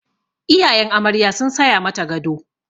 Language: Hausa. Iyayen amarya sun saya mata gado.